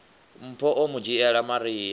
mpho o mu dzhiela maria